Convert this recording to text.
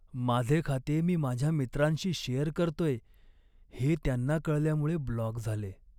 माझे खाते मी माझ्या मित्रांशी शेअर करतोय हे त्यांना कळल्यामुळे ब्लॉक झाले.